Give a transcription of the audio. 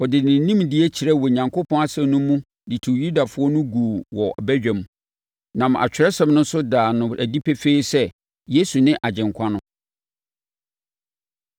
Ɔde ne nimdeɛ kyerɛɛ Onyankopɔn asɛm mu de tuu Yudafoɔ no guu wɔ badwam, nam Atwerɛsɛm no so daa no adi pefee sɛ, Yesu ne Agyenkwa no.